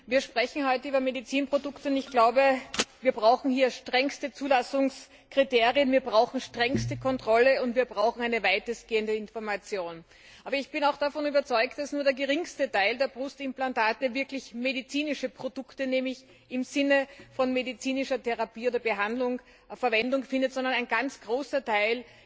Wir sprechen heute über Medizinprodukte, und ich glaube, wir brauchen hier strengste Zulassungskriterien, wir brauchen strengste Kontrolle, und wir brauchen eine weitestgehende Information. Aber ich bin auch davon überzeugt, dass nur der geringste Teil der Brustimplantate wirklich als medizinische Produkte im Sinne von medizinischer Therapie oder Behandlung Verwendung findet und dass ein ganz großer Teil